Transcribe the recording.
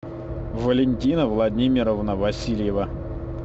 валентина владимировна васильева